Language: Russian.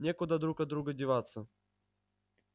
некуда друг от друга деваться